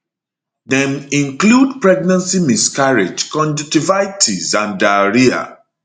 dem include pregnancy miscarriage conjunctivitis and diarrhoea